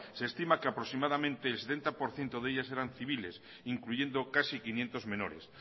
se estima que aproximadamente el setenta por ciento de ellas eran civiles incluyendo casi quinientos menores